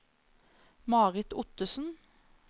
Marit Ottesen